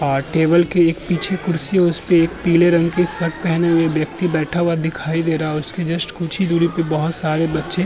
और टेबल के एक पीछे कुर्सी है। उस पर एक पीले रंग की शर्ट पहने हुए व्यक्ति बैठा हुआ दिखाई दे रहा है। उसके जस्ट कुछ ही दूरी पर बोहोत सारे बच्चें --